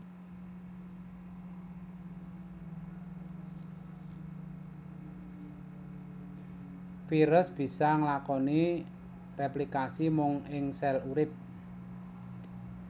Virus bisa nglakoni réplikasi mung ing sèl urip